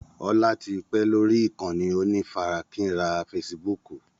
Ọlá tí pẹ́ lórí ìkànnì onífarakínra fésííbùùkù.